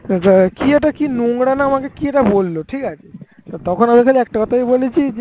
কি একটা কি আমাকে নোংরা একটা কি আমাকে বললো ঠিক আছে তখন আমি একটা কথাই বলেছি